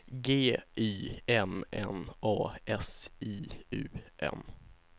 G Y M N A S I U M